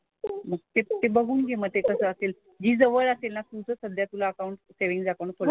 मग ते ते बघून घे मग ते कसं असेल. जी जवळ असेल ना तिचंच तुला सध्या अकाउंट सेव्हिन्ग अकाउंट खोलायचं ना.